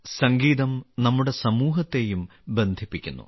സംഗീതം നമ്മുടെ സമൂഹത്തെയും ബന്ധിപ്പിക്കുന്നു